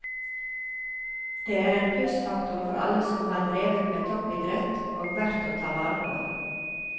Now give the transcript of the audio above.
Det er en plussfaktor for alle som har drevet med toppidrett, og verdt å ta vare på.